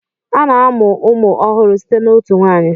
A na-amụ ụmụ ọhụrụ site na otu nwanyi.